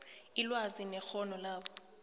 ilwazi nekghono labo